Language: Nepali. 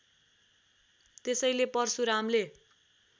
त्यसैले परशुरामले